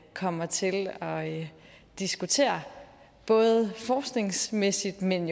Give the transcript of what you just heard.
kommer til at diskutere både forskningsmæssigt men